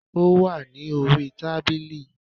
Ó wà ní orí tábìlì